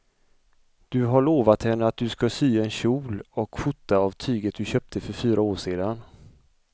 Du har lovat henne att du ska sy en kjol och skjorta av tyget du köpte för fyra år sedan.